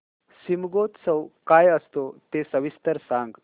शिमगोत्सव काय असतो ते सविस्तर सांग